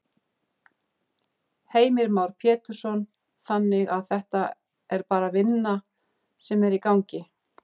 Heimir Már Pétursson: Þannig að þetta er bara vinna sem er í gangi?